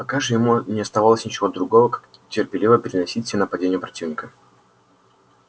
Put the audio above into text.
пока же ему не оставалось ничего другого как терпеливо переносить все нападения противника